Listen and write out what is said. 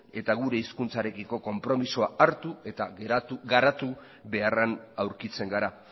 eta gure hizkuntzarekiko konpromisoa hartu eta garatu beharrean aurkitzen gara